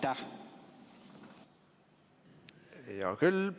Hea küll.